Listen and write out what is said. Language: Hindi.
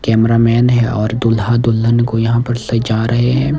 कैमरामैन है और दूल्हा दुल्हन को यहां पर ले जा रहे हैं।